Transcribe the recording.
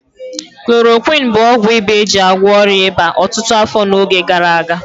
Klorokwịn bụ ọgwụ ịba eji agwọ ọrịa ịba ọtụtụ afọ n'oge gara aga.